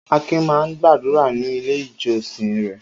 Akin máa ń gbàdúrà ní Ilé-ìjọsìn rẹ̀.